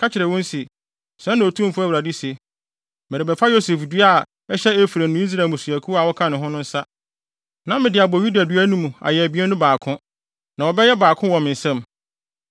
ka kyerɛ wɔn se, ‘Sɛɛ na Otumfo Awurade se: Merebɛfa Yosef dua a ɛhyɛ Efraim ne Israel mmusuakuw a wɔka ne ho no nsa, na mede abɔ Yuda dua no mu ayɛ abien no baako, na wɔbɛyɛ baako wɔ me nsam.’